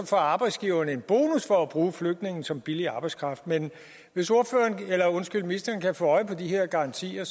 får arbejdsgiverne en bonus for at bruge flygtninge som billig arbejdskraft men hvis ministeren kan få øje på de her garantier